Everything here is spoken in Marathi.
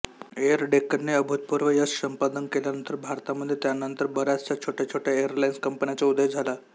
एअर डेक्कनने अभूतपूर्व यश संपादन केल्यानंतर भारतामध्ये त्यानंतर बयाचशा छोटया छोटया एअरलाईन्स कंपन्याचा उदय झाला